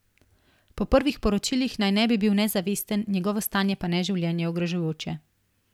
Po prvih poročilih naj ne bi bil nezavesten, njegovo stanje pa ne življenje ogrožujoče.